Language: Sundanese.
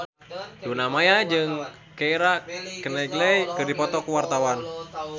Luna Maya jeung Keira Knightley keur dipoto ku wartawan